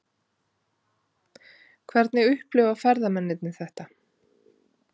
Hvernig upplifa ferðamennirnir þetta?